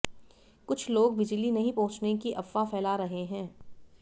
कुछ लोग बिजली नहीं पहुंचने की अफवाह फैला रहे हैं